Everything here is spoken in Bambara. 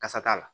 Kasa t'a la